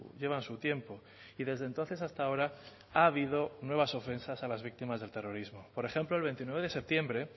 llevan su tiempo y desde entonces hasta ahora ha habido nuevas ofensas a las víctimas del terrorismo por ejemplo el veintinueve de septiembre